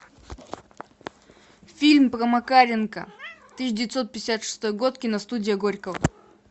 фильм про макаренко тысяча девятьсот пятьдесят шестой год киностудия горького